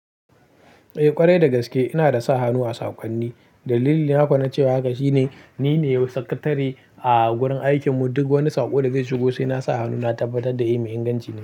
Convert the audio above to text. Eh ƙwarai dagaske ina da sa hannu a saƙonni. Dalilin nafa na cewa haka shine ni ne sakatare a wurin aikin mu, duk wani saƙo da zai shigo sai nasa hannu na tabbatar da yi mai inganci ne.